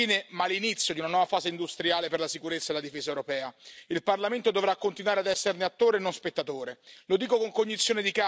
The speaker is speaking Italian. Il voto di domani non è la fine ma l'inizio di una nuova fase industriale per la sicurezza e la difesa europea, il Parlamento dovrà continuare ad esserne attore e non spettatore.